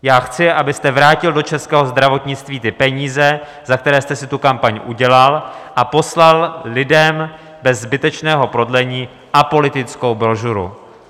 Já chci, abyste vrátil do českého zdravotnictví ty peníze, za které jste si tu kampaň udělal, a poslal lidem bez zbytečného prodlení apolitickou brožuru.